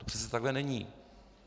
To přece takhle není.